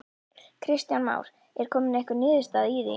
Kristján Már: Er komin einhver niðurstaða í því?